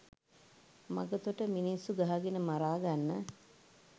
මඟතොට මිනිස්සු ගහගෙන මරාගන්න